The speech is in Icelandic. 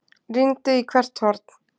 Rýndi í hvert horn.